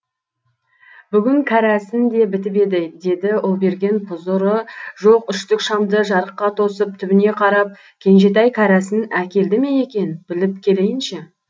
бүгін кәрәсін де бітіп еді деді ұлберген пұзыры жоқ үштік шамды жарыққа тосып түбіне қарап кенжетай кәрәсін әкелді ме екен біліп келейінші